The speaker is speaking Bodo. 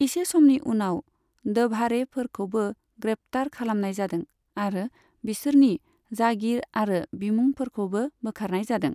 इसे समनि उनाव, द'भाड़ेफोरखौबो ग्रेप्तार खालामनाय जादों, आरो बिसोरनि जागिर आरो बिमुंफोरखौबो बोखारनाय जादों।